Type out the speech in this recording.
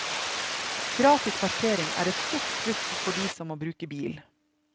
Gratis parkering er et stort pluss for de som må bruke bil.